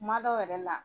Kuma dɔw yɛrɛ la